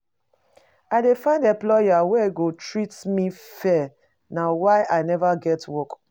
I dey find employer wey go treat me fair na why I neva get work.